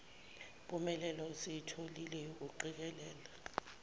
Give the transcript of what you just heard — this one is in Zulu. mpumelelo esiyitholile yokuqikelela